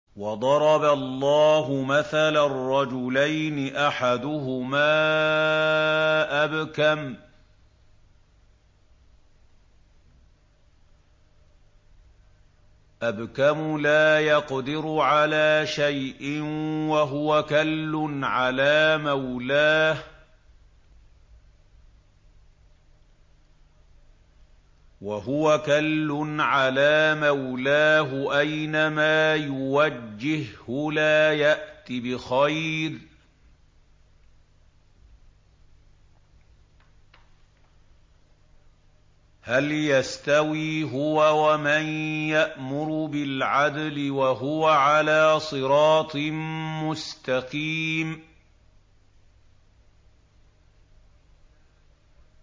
وَضَرَبَ اللَّهُ مَثَلًا رَّجُلَيْنِ أَحَدُهُمَا أَبْكَمُ لَا يَقْدِرُ عَلَىٰ شَيْءٍ وَهُوَ كَلٌّ عَلَىٰ مَوْلَاهُ أَيْنَمَا يُوَجِّههُّ لَا يَأْتِ بِخَيْرٍ ۖ هَلْ يَسْتَوِي هُوَ وَمَن يَأْمُرُ بِالْعَدْلِ ۙ وَهُوَ عَلَىٰ صِرَاطٍ مُّسْتَقِيمٍ